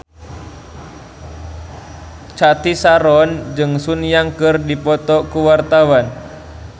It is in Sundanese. Cathy Sharon jeung Sun Yang keur dipoto ku wartawan